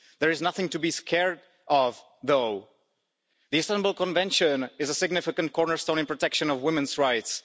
There is nothing to be scared of, though. The Istanbul Convention is a significant cornerstone in the protection of women's rights.